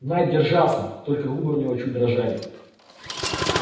найд держался только губы у него чуть дрожали